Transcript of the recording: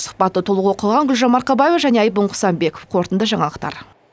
сұхбатты толық оқыған гүлжан марқабаева және айбын қысанбеков қорытынды жаңалықтар